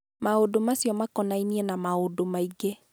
Maũndũ macio makonainie na maũndũ maingĩ.